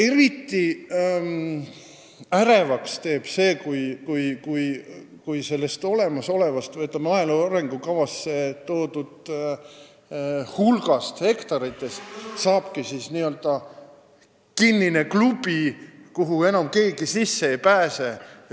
Eriti ärevaks teeb see, kui sellest olemasolevast, maaelu arengukavas toodud hulgast hektaritest saabki n-ö kinnine klubi, kuhu enam keegi sisse ei pääse.